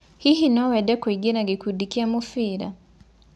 Hihi nowende kũĩngĩa gĩkũndĩ kĩa mũbĩra?